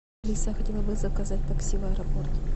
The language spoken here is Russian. алиса я хотела бы заказать такси в аэропорт